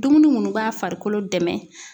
Dumuni minnu b'a farikolo dɛmɛ